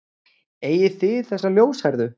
Eigið þið þessa ljóshærðu?